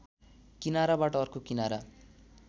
किनाराबाट अर्को किनारा